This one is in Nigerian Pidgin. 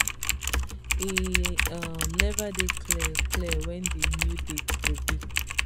e um neva dey clear clear wen di new date go be